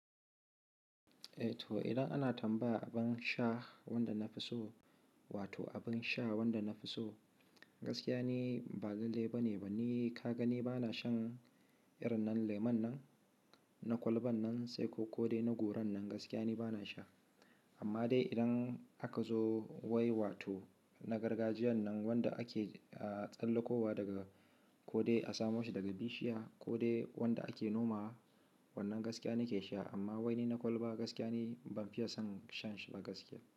Eh to idan ana tambaya abin sha wanda na fi so, wato abin sha wanda na fi so gaskiya ni ba lallai bane. Banni ka gani bana shan irin nan lemon nan na kwalban nan sai ko ko dai na goron nan gaskiya ne bana sha. Amma dai idan aka zo wai wato na gargajiyan nan wanda ake tsallakowa daga ko dai a samo shi daga bishiya ko dai wanda ake nomawa wannan gaskiya nake sha amma wani na kwalba gaskiya ni ban fiya son shan shi ba gaskiya.